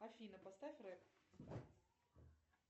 афина поставь реп